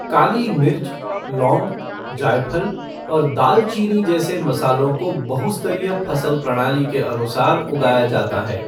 काली मिर्च, लौंग, जायफल और दालचीनी जैसे मसालों को बहु स्तरीय फसल प्रणाली के अनुसार उगाया जाता है।